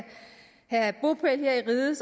have bopæl her i riget